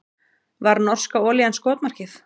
Var norska olían skotmarkið